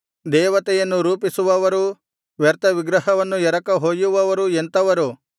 ದೇವತೆಯನ್ನು ರೂಪಿಸುವವರೂ ವ್ಯರ್ಥವಿಗ್ರಹವನ್ನು ಎರಕ ಹೊಯ್ಯುವವರೂ ಎಂಥವರು